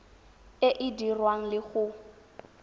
e e dirwang le go